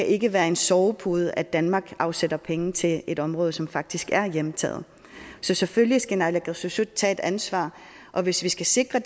ikke være en sovepude at danmark afsætter penge til et område som faktisk er hjemtaget så selvfølgelig skal naalakkersuisut tage et ansvar og hvis vi skal sikre